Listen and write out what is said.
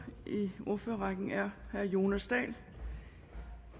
i ordførerrækken er herre jonas dahl